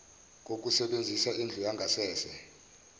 kokusebenzisa indlu yangasese